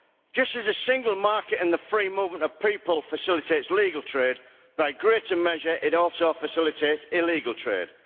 Just as the single market and the free movement of people facilitates legal trade, by greater measure it also facilitates illegal trade.